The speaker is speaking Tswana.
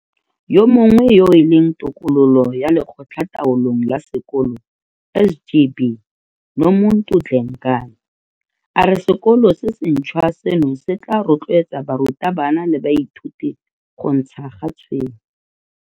Yo mongwe yo e leng tokololo ya Lekgotlataolong la Sekolo SGB. Nomuntu Dlengane, a re sekolo se sentšhwa seno se tla rotloetsa barutabana le baithuti go ntsha ga tshwene.